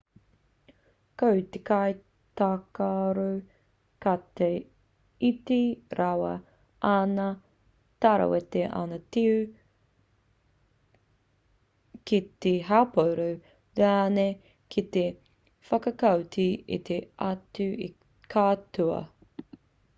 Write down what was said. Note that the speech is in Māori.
ko te kaitākaro ka iti rawa āna tarawete āna tiu ki te haupōro rānei ki te whakaoti i te autaki ka toa